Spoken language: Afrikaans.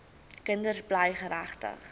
kinders bly geregtig